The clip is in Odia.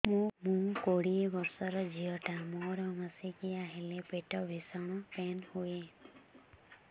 ମୁ କୋଡ଼ିଏ ବର୍ଷର ଝିଅ ଟା ମୋର ମାସିକିଆ ହେଲେ ପେଟ ଭୀଷଣ ପେନ ହୁଏ